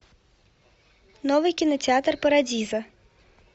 новый кинотеатр парадиза